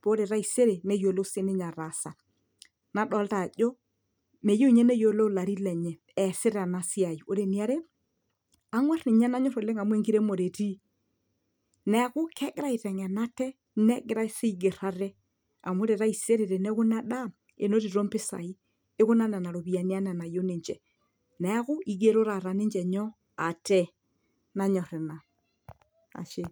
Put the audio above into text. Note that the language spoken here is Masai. paa ore taisere neyiolou sininye ataasa nadolta ajo meyieu ninye neyiolou ilarin lenye eesita ena siai ore eniare ang'uarr ninye nanyorr oleng amu enkiremore etii neeku kegira aiteng'en ate negira sii aigerr ate amu ore taisere teneku ina daa enotito impisai ikuna nena ropiyiani anaa enayieu ninche neeku igero taata ninche nyoo ate nanyorr ina ashe.